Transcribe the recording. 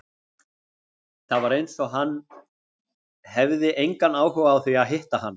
Það var eins og hann hefði engan áhuga á því að hitta hana.